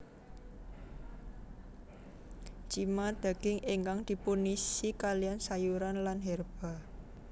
Cima daging ingkang dipunisi kaliyan sayuran lan herba